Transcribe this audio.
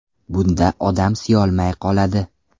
Bunda odam siyolmay qoladi.